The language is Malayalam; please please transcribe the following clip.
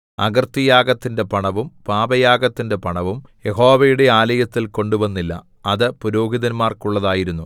അകൃത്യയാഗത്തിന്റെ പണവും പാപയാഗത്തിന്റെ പണവും യഹോവയുടെ ആലയത്തിൽ കൊണ്ടുവന്നില്ല അത് പുരോഹിതന്മാർക്കുള്ളതായിരുന്നു